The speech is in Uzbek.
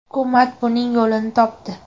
Hukumat buning yo‘lini topdi.